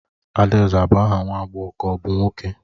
Adaeze bụ aha nwa agbọghọ ka ọ bụ nwoke?